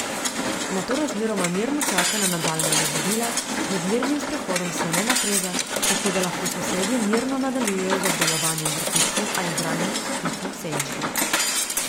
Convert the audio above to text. Nato razmeroma mirno čaka na nadaljnja navodila, med mirnim sprehodom se ne napreza, tako da lahko sosedje mirno nadaljujejo z obdelovanjem vrtičkov ali branjem časopisa v senčki.